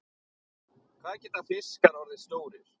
Hvað geta fiskar orðið stórir?